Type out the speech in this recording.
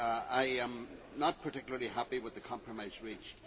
I am not particularly happy with the compromise reached.